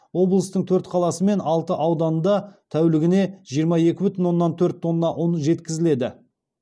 облыстың төрт қаласы мен алты ауданында тәулігіне жиырма екі бүтін оннан төрт тонна ұн жеткізіледі